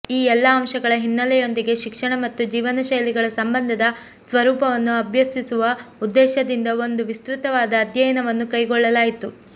ಈ ಎಲ್ಲ ಅಂಶಗಳ ಹಿನ್ನೆಲೆಯೊಂದಿಗೆ ಶಿಕ್ಷಣ ಮತ್ತು ಜೀವನಶೈಲಿಗಳ ಸಂಬಂಧದ ಸ್ವರೂಪವನ್ನು ಅಭ್ಯಸಿಸುವ ಉದ್ದೇಶದಿಂದ ಒಂದು ವಿಸ್ತೃತವಾದ ಅಧ್ಯಯನವನ್ನು ಕೈಗೊಳ್ಳಲಾಯಿತು